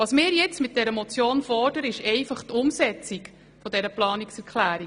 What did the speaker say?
Mit unserer Motion fordern wir nun die Umsetzung dieser Planungserklärung.